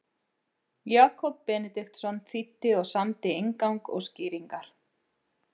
Jakob Benediktsson þýddi og samdi inngang og skýringar.